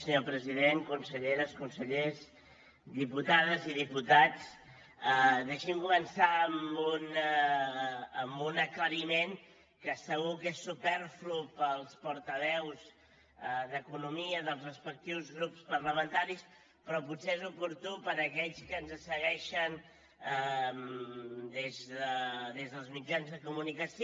senyor president conselleres consellers diputades i diputats deixi’m començar amb un aclariment que segur que és superflu per als portaveus d’economia dels respectius grups parlamentaris però potser és oportú per a aquells que ens segueixen des dels mitjans de comunicació